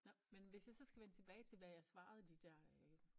Nåh men hvis jeg så skal vende tilbage til hvad jeg svarede de dér øh